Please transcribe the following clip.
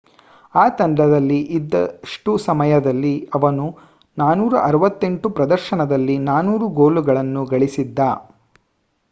ಆ ತಂಡದಲ್ಲಿ ಇದ್ದಷ್ಟು ಸಮಯದಲ್ಲಿ ಅವನು 468 ಪ್ರದರ್ಶನದಲ್ಲಿ 403 ಗೋಲ್ಗಳನ್ನು ಗಳಿಸಿದ್ದ